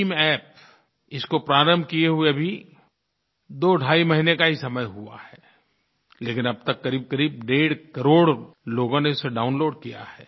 BHIMApp इसको प्रारंभ किए हुए अभी दोढाई महीने का ही समय हुआ है लेकिन अब तक क़रीबक़रीब डेढ़ करोड़ लोगों ने इसे डाउनलोड किया है